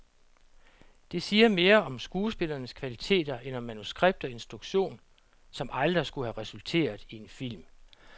Det siger mere om skuespillernes kvaliteter end om manuskript og instruktion, som aldrig skullet have resulteret i en film.